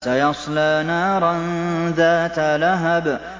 سَيَصْلَىٰ نَارًا ذَاتَ لَهَبٍ